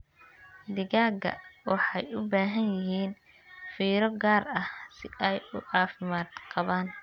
Digaagga waxay u baahan yihiin fiiro gaar ah si ay u caafimaad qabaan.